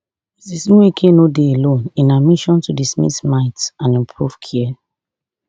ms nweke no dey alone in her mission to dismiss myths and improve care